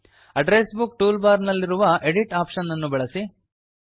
address book tool bar ನಲ್ಲಿರುವ edit option ಅನ್ನು ಅನ್ನು ಬಳಸಿ